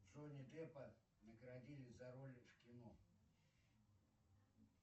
джонни деппа наградили за роли в кино